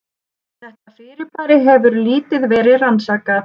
Þetta fyrirbæri hefur lítið verið rannsakað.